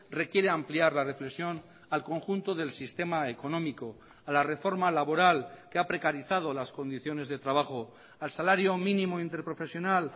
requiere ampliar la reflexión al conjunto del sistema económico a la reforma laboral que ha precarizado las condiciones de trabajo al salario mínimo interprofesional